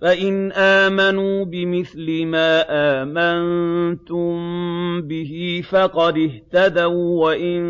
فَإِنْ آمَنُوا بِمِثْلِ مَا آمَنتُم بِهِ فَقَدِ اهْتَدَوا ۖ وَّإِن